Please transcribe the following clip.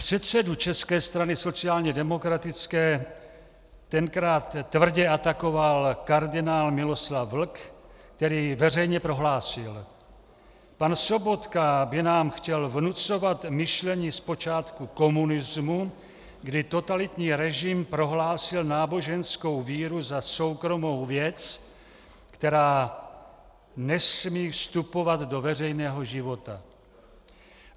Předsedu České strany sociálně demokratické tenkrát tvrdě atakoval kardinál Miloslav Vlk, který veřejně prohlásil: Pan Sobotka by nám chtěl vnucovat myšlení z počátku komunismu, kdy totalitní režim prohlásil náboženskou víru za soukromou věc, která nesmí vstupovat do veřejného života.